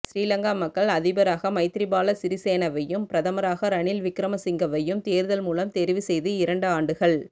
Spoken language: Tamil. சிறிலங்கா மக்கள் அதிபராக மைத்திரிபால சிறிசேனவையும் பிரதமராக ரணில் விக்கிரமசிங்கவையும் தேர்தல் மூலம் தெரிவு செய்து இரண்டு ஆண்டுகள்